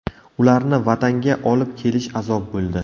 Ularni Vatanga olib kelish azob bo‘ldi.